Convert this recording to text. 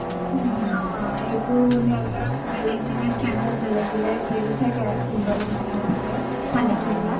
অ অ সেইটো সিহতৰ বেলেগ বেলেগ tribe ৰ বেলেগ বেলেগ symbol তেনেকুৱা থাকে , চানেকি বিলাক